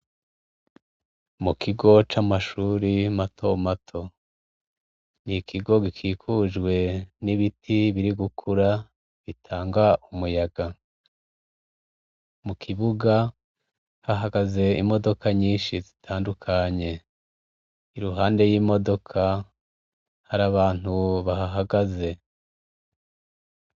Mukigo camashure mato mato nikigo gikikujwe nibiti birigukura bitanga umuyaga mukibuga hahagaze imodoka nyinshi zitandukanye iruhande yimodoka harabantu bahahagaze